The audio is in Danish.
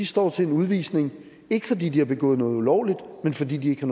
står til en udvisning ikke fordi de har begået noget ulovligt men fordi de ikke